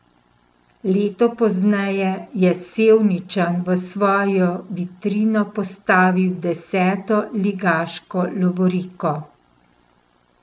Leto pozneje je Sevničan v svojo vitrino postavil deseto ligaško lovoriko.